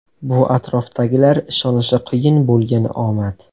Bu atrofdagilar ishonishi qiyin bo‘lgan omad.